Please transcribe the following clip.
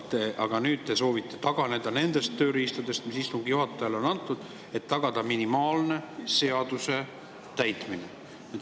Aga nüüd te soovite taganeda nendest tööriistadest, mis istungi juhatajale on antud, et tagada minimaalnegi seaduse täitmine.